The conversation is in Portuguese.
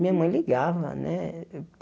Minha mãe ligava, né?